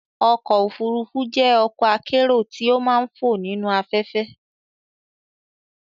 ọ̀kọ̀ ofúrúfú jẹ́ ọ̀kọ̀ akérò ti ó màà ń fò nīnu afẹ̀fẹ́